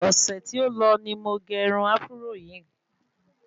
Ọ̀sẹ̀ tí o lọ ni mo ge irun áfúró yìí